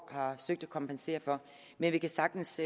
har søgt at kompensere for men vi kan sagtens